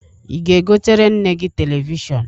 Ị ga-egotere nne gị telivishọn?